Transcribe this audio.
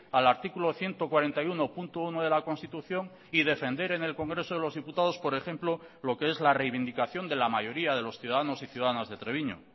al artículo ciento cuarenta y uno punto uno de la constitución y defender en el congreso de los diputados por ejemplo lo que es la reivindicación de la mayoría de los ciudadanos y ciudadanas de treviño